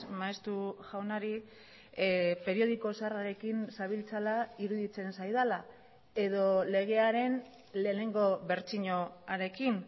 maeztu jaunari periodiko zaharrarekin zabiltzala iruditzen zaidala edo legearen lehenengo bertsioarekin